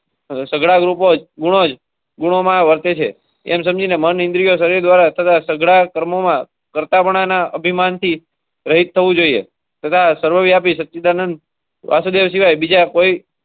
માં વર્તે છે એમ સમજીને મને ઇન્ડિયા શરીર દ્વારા તથા સઘળા કર્મોમાં કરતા બનાના અભિમાનથી.